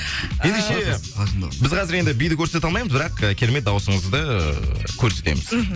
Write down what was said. ендеше біз қазір енді биді көрсете алмаймыз бірақ ы керемет дауысыңызды көрсетеміз мхм